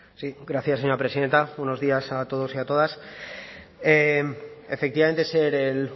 sí gracias señora presidenta buenos días a todos y a todas efectivamente ser el